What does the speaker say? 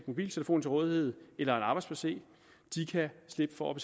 mobiltelefon til rådighed eller en arbejds pc kan slippe for